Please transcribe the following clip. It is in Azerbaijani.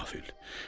ey dili qafil!